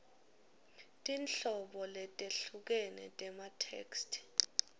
tinhlobo letehlukene tematheksthi